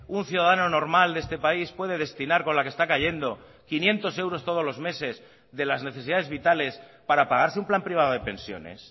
un ciudadano normal de este país puede destinar con la que está cayendo quinientos euros todos los meses de las necesidades vitales para pagarse un plan privado de pensiones